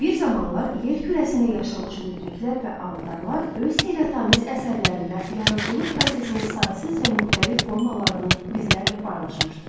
Bir zamanlar yer kürəsində yaşamış müdriklər və avatarlar öz heyrətamiz əsərlərində yaradıcılıq prosesinin saysız və müxtəlif formalarını bizlərlə paylaşmışdı.